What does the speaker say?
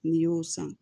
N'i y'o san